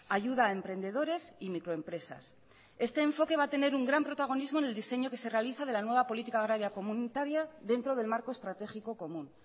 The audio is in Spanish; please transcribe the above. ayuda a emprendedores y microempresas este enfoque va a tener un gran protagonismo en el diseño que se realiza de la nueva política agraria comunitaria dentro del marco estratégico común